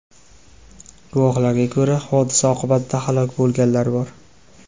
Guvohlarga ko‘ra, hodisa oqibatida halok bo‘lganlar bor.